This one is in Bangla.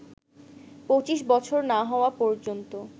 ২৫ বছর না হওয়া পর্যন্ত